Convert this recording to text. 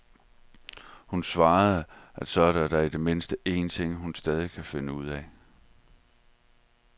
Hun svarer, at så er der da i det mindste en ting, hun stadig kan finde ud af.